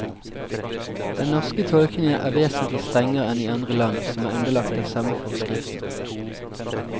Den norske tolkningen er vesentlig strengere enn i andre land som er underlagt den samme forskriften.